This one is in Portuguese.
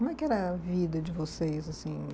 Como é que era a vida de vocês, assim?